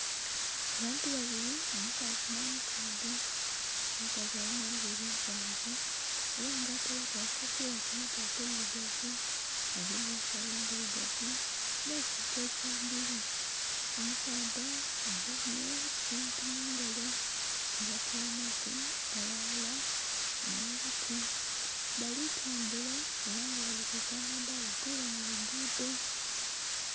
Abantu babiri omukazi nho musaadha nga balinha enviri mpanvu era nga ataireku aka kofira ku mutwe akeirugavu bagemye ensagho endhirugavu nhe ekintu ekya bbulu. Omusaadha agemye ekintu mungalo, kyebatyamaku aghalala nho luti, bali tambula era nga bali kwika amadhalanokwira mu lugudho.